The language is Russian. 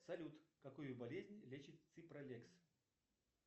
салют какую болезнь лечит ципролекс